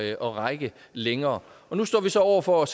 at række længere og nu står vi så over for at